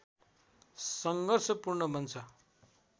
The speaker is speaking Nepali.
सङ्घर्षपूर्ण बन्छ